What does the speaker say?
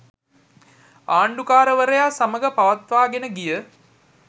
ආණ්ඩුකාරවරයා සමඟ පවත්වාගෙන ගිය